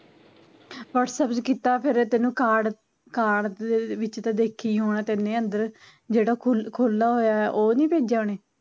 whatsapp ਤੇ ਕੀਤਾ ਫੇਰ ਤੈਨੂੰ ਕਾਰਡ, ਕਾਰਡ ਦੇ ਵਿੱਚ ਤਾਂ ਦੇਖਿਆ ਈ ਹੁਣਾ ਤੇਨੇ ਅੰਦਰ ਜਿਹੜਾ ਖੁੱਲ ਖੁੱਲਾ ਹੋਇਆ ਐ ਉਹ ਨੀ ਭੇਜਿਆ ਉਹਨੇ